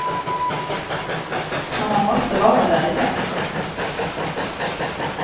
Och man måste vara där det händer.